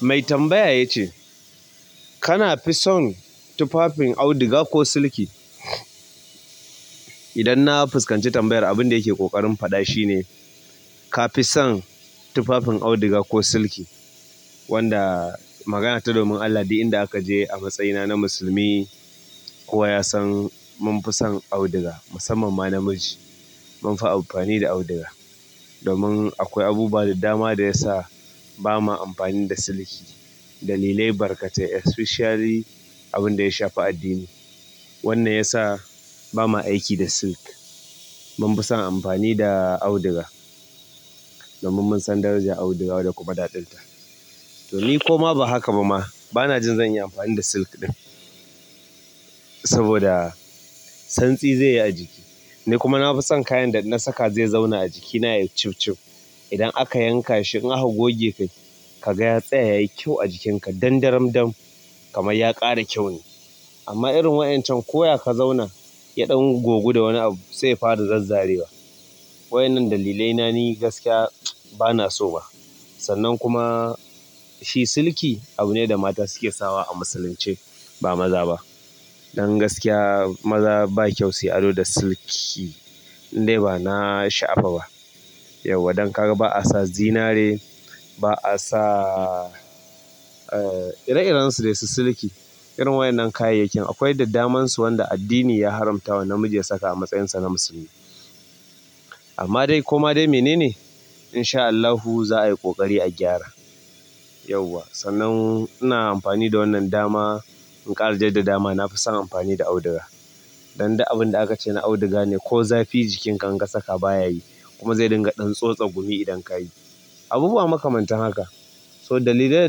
Mai tambaya ya ce, kana fi son tufafin auduga ko siliki? Idan na fuskanci tambayar abin da yake ƙoƙarin faɗa shi ne, ka fi son tufafin auduga ko siliki? Wanda magana ta domin Allah duk inda aka je a matsayina na musulmi kowa ya san mun fi son auduga, musamman ma namiji. Mun fi amfani da auduga domin akwai abubuwa da dama da ya sa ba ma amfani da siliki. Dalilai barkatai especially abin da ya shafi addini. Wannan ya sa ba ma aiki da silk. Munfisan amfani da auduga domin munsan darajar auduga da kuma daɗin ta to ni kuma ba haka ba ma. Ba na jin zan yi amfani da silk ɗin saboda santsi zai yi a jiki. Ni kuma na fi son kayan da na saka zai zauna a jikina yayi cif-cif. Idan aka yanka shi in aka goge kai ka ga ya tsaya yayi kyau a jikinka dan-daram dam kamar ya ƙara kyau ne. Amma irin waƴancan koya ka zauna yaɗon gogu da wani abu sai fara zazzarewa. Waƴanan dalilai na ni gaskiya ba na so ba. Sannan kuma shi siliki abu ne da mata suke sawa a musulunce ba maza ba. Don gaskiya maza ba kyau su ado da siliki. Ni dai ba na sha'afa ba. Yauwa don ka ga ba a sa zinare ba a sa, eh, ire-irensu da su siliki. Irin waƴannan kayayyakin akwai dad damansu wanda addini ya haramta wa namiji ya saka a matsayinsa na musulmi. Amma dai koma dai mene ne? In sha Allah hu za a yi ƙoƙari a gyara. Yawwa sannan ina amfani da wannan dama in ƙara jaddada ma nafison amfani da auduga dan duk abin da aka ce na auduga ne ko zafi jikinka in ka saka baya yi kuma zai dinga ɗan tsotsa gumi idan ka yi. Abubuwa makamanta haka. So dalili da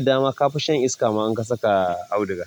dama ka fi shan iska ma in ka saka auduga.